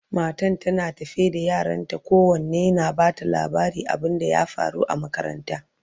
matan tana tafe da yaranta kowanne na ta Bata labarin abun da ya faru a makaranta